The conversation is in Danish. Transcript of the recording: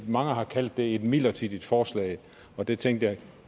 mange har kaldt det et midlertidigt forslag og der tænkte jeg